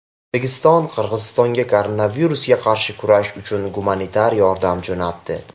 O‘zbekiston Qirg‘izistonga koronavirusga qarshi kurash uchun gumanitar yordam jo‘natdi .